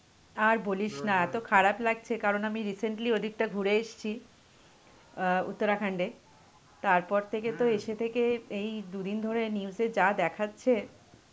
আর বলিস না এত খারাপ লাগছে কারণ আমি recently ওদিকটা ঘুরে এসছি অ্যাঁ উত্তরাখণ্ডে, তারপর থেকে তো এসে থেকে এই দুদিন ধরে news এ যা দেখাচ্ছে.